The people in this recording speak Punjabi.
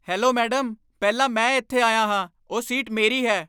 ਹੈਲੋ ਮੈਡਮ, ਪਹਿਲਾਂ ਮੈਂ ਇੱਥੇ ਆਇਆ ਹਾਂ। ਉਹ ਸੀਟ ਮੇਰੀ ਹੈ।